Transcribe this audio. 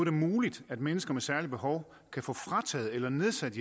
er muligt at mennesker med særlige behov kan få frataget eller nedsat